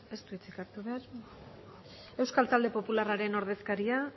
ez du hitzik hartu behar euskal talde popularraren ordezkaria